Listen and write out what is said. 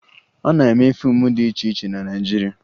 A na-eme fiimu dị iche iche na Naịjirịa